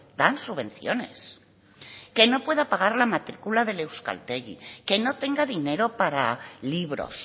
dan subvenciones que no pueda pagar la matricula del euskaltegi que no tenga dinero para libros